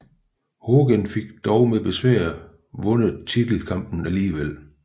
Hogan fik dog med besvær vundet titelkampen alligevel